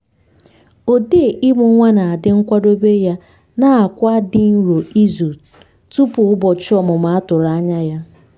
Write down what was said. odee imụ nwa na-adi nkwadobe ya na-akwa di nro izu tupu ụbọchị ọmụmụ a tụrụ anya ya